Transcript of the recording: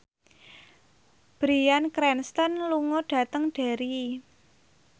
Bryan Cranston lunga dhateng Derry